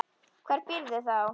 Hvar býrðu þá?